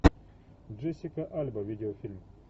джессика альба видеофильм